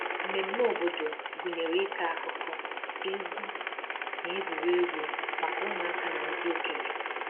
Mmemmé obodo gụnyere ịkọ akụkọ, egwu, na egwuregwu maka ụmụaka na ndị okenye